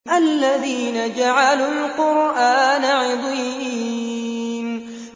الَّذِينَ جَعَلُوا الْقُرْآنَ عِضِينَ